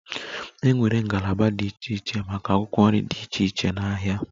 E nwere ngalaba dị iche iche maka akwụkwọ nri dị iche iche n'ahịa.